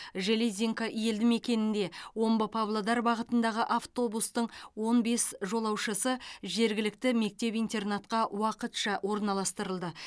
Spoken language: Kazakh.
железинка елді мекенінде омбы павлодар бағытындағы автобустың он бес жолаушысы жергілікті мектеп интернатқа уақытша орналастырылды